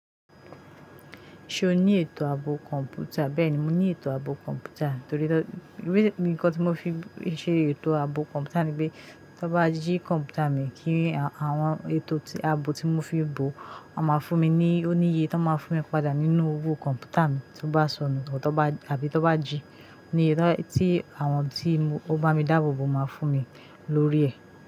Ṣe o ni eto abo kọ̀m̀pútà? Bẹ́ẹ̀ni, mo ní eto abo kọ̀m̀pútà torí pé nǹkan tí mo fi ṣe eto abo kọ̀m̀pútà ni pé, to bá jí kọ̀m̀pútà mi, kí àwọn eto abo tí mo fi bò, ó máa fún mi ní òníye, ó máa fún mi padà nínú owó kọ̀m̀pútà mi tí ó bá sọnù tọ́ bá àbí tó bá jí. Tí àwọn tí ó n bá mi dáàbò bò máa fún mi lórí ẹ̀